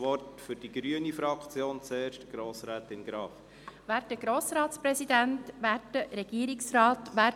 Für die Fraktion der Grünen erhält Grossrätin Graf das Wort.